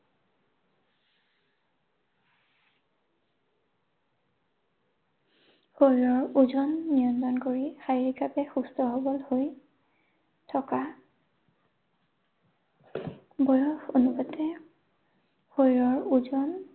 শৰীৰৰ ওজন নিয়ন্ত্ৰণ কৰি শাৰীৰিকভাৱে সুস্থ সৱল হৈ থকা বয়স অনুপাতে শৰীৰৰ ওজন